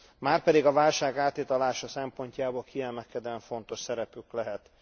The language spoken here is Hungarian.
márpedig a válság áthidalása szempontjából kiemelkedően fontos szerepük lehet.